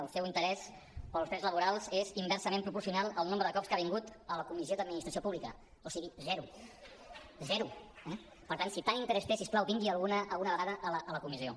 el seu interès pels drets laborals és inversament proporcional al nombre de cops que ha vingut a la comissió d’administració pública o sigui zero zero eh per tant si tan interès té si us plau vingui alguna vegada a la comissió